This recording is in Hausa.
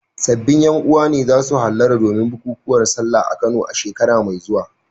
Sabbin ƴan uwa ne za su hallara domin bukukuwan Sallah a Kano a shekara mai zuwa.